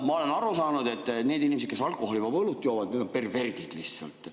Ma olen aru saanud, et need inimesed, kes alkoholivaba õlut joovad, on perverdid lihtsalt.